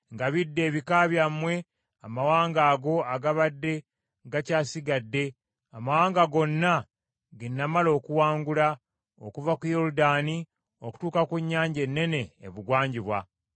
Mulabe, ngabidde ebika byammwe amawanga ago agabadde gakyasigadde, amawanga gonna ge namala okuwangula, okuva ku Yoludaani okutuuka ku nnyanja ennene ebugwanjuba.